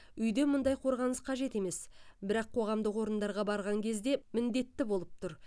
үйде мұндай қорғаныс қажет емес бірақ қоғамдық орындарға барған кезде міндетті болып тұр